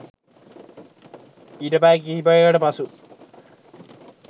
ඊට පැය කිහිපයකට පසු